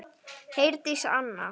Herdís Anna.